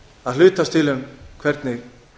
að hlutast til um hvernig